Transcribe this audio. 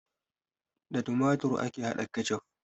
Da tumatur ake hada ketchup